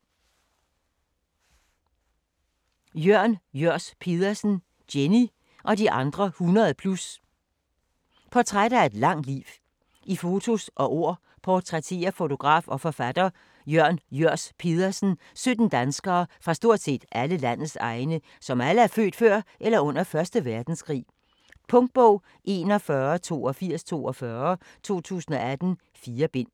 Jørs Pedersen, Jørn: Jenny og de andre 100+: portrætter af et langt liv I fotos og ord portrætterer fotograf og forfatter Jørn Jørs Pedersen 17 danskere fra stort set alle landets egne, som alle er født før eller under 1. verdenskrig. Punktbog 418242 2018. 4 bind.